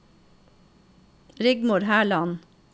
Rigmor Herland